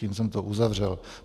Tím jsem to uzavřel.